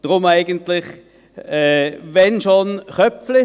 Deshalb: wenn schon Köpfli.